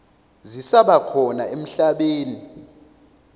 zisaba khona emhlabeni